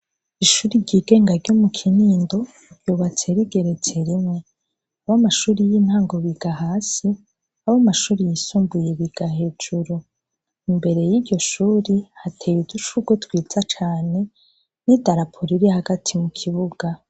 Ishuri ry'igenga ryo mu kinindo ryubatse rigeretse rimwe abo amashuri y'intango biga hasi abo amashuri yisumbuye biga hejuru imbere y'iryo shuri hateye uducurwo twiza cane n'i darapolo iri hagati mu kibuga.